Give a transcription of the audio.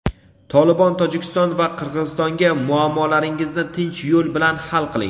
"Tolibon" Tojikiston va Qirg‘izistonga: "Muammolaringizni tinch yo‘l bilan hal qiling".